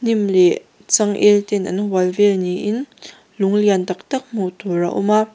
hnim leh chang el ten an hual vel niin lung lian taktak hmuh tur a awm a.